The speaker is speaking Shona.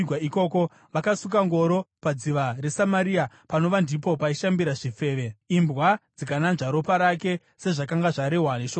Vakasuka ngoro padziva reSamaria (panova ndipo paishambira zvifeve), imbwa dzikananzva ropa rake, sezvakanga zvarehwa neshoko raJehovha.